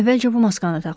Əvvəlcə bu maskanı taxın.